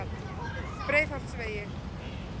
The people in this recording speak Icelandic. Breiðholtsvegi